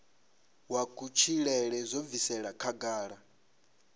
wa kutshilele zwo bviselwa khagala